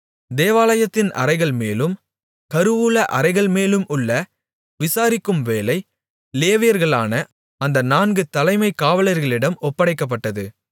தேவாலயத்தின் அறைகள்மேலும் கருவூல அறைகள்மேலும் உள்ள விசாரிக்கும் வேலை லேவியர்களான அந்த நான்கு தலைமைக் காவலர்களிடம் ஒப்படைக்கப்பட்டது